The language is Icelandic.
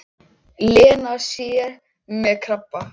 Lena sé með krabba.